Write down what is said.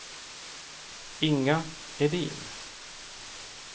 Inga Edin